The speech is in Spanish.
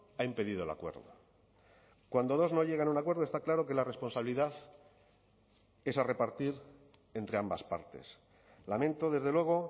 ha impedido el acuerdo cuando dos no llegan a un acuerdo está claro que la responsabilidad es a repartir entre ambas partes lamento desde luego